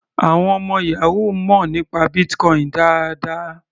Àwọn ọmọ yahoo mọ̀ nípa Bitcoin dáadáa.